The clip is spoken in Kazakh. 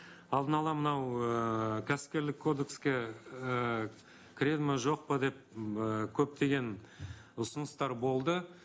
алдын ала мынау ыыы кәсіпкерлік кодекске ыыы кіреді ме жоқ па деп м ііі көптеген ұсыныстар болды